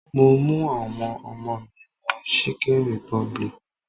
Mo mú àwọn ọmọ mi lọ chicken republic.